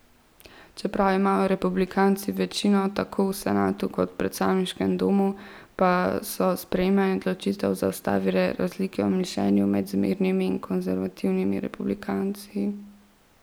Čeprav imajo republikanci večino tako v senatu kot predstavniškem domu, pa so sprejemanje odločitev zaustavile razlike v mišljenju med zmernimi in konservativnimi republikanci.